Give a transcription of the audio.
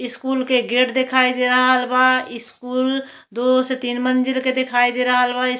School के gate देखाई दे रहल बा। स्कूल दो से तीन मंजिल के देखाई दे रहल बा। स् --